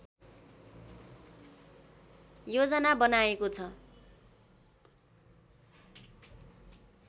योजना बनाएको छ